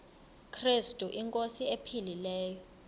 krestu inkosi ephilileyo